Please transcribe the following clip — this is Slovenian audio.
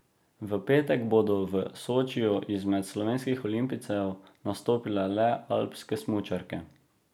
V petek bodo v Sočiju izmed slovenskih olimpijcev nastopile le alpske smučarke.